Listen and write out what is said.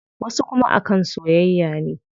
Wasu kuma a kan soyayya ne.